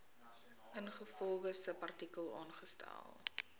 ingevolge subartikel aangestel